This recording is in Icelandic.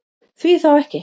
Því þá ekki?